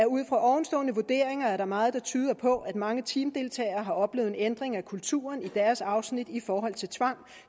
ud fra ovenstående vurderinger er der meget der tyder på at mange teamdeltagere har oplevet en ændring af kulturen i deres afsnit i forhold til tvang